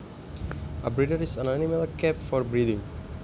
A breeder is an animal kept for breeding